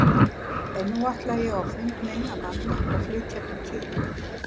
En nú ætla ég á fund minna manna og flytja þeim tíðindin.